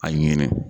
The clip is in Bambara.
A ɲini